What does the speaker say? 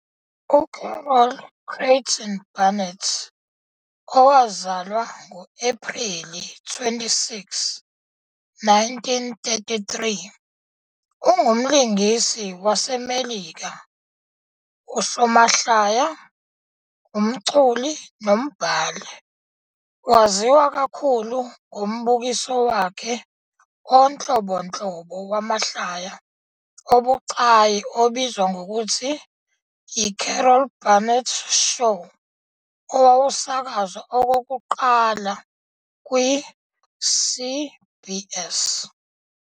UCarol Creighton Burnett, owazalwa ngo-Ephreli 26, 1933, ungumlingisi waseMelika, usomahlaya, umculi nombhali. Waziwa kakhulu ngombukiso wakhe onhlobonhlobo wamahlaya obucayi obizwa ngokuthi "yiCarol Burnett Show", owawusakazwa okokuqala kwi- CBS.